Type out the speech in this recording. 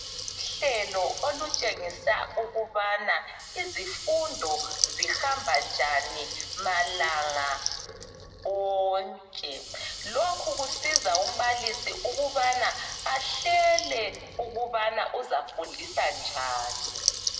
Uhlelo olutshengisa ukubana izifundo zihamba njani malanga onke. Lokhu kusiza umbalisi ukubana ahlele ukubana uzafundisa njani.